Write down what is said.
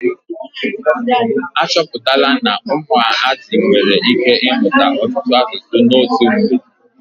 Achọpụtala na ụmụazị nwere ike ị mụta ọtụtụ asụsụ n'otu mgbe.